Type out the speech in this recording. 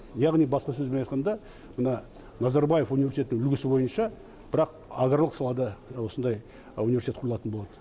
яғни басқа сөзбен айтқанда мына назарбаев университетінің үлгісі бойынша бірақ аграрлық салада осындай университет құрылатын болады